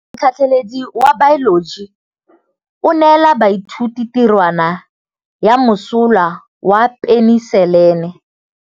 Motlhatlhaledi wa baeloji o neela baithuti tirwana ya mosola wa peniselene.